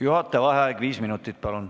Juhataja vaheaeg viis minutit.